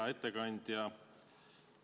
Hea ettekandja!